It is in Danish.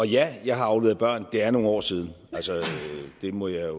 ja jeg har afleveret børn men det er nogle år siden det må jeg